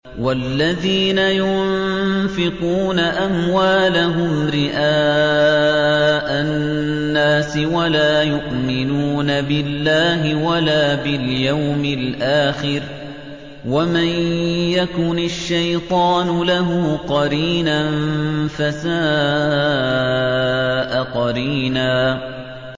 وَالَّذِينَ يُنفِقُونَ أَمْوَالَهُمْ رِئَاءَ النَّاسِ وَلَا يُؤْمِنُونَ بِاللَّهِ وَلَا بِالْيَوْمِ الْآخِرِ ۗ وَمَن يَكُنِ الشَّيْطَانُ لَهُ قَرِينًا فَسَاءَ قَرِينًا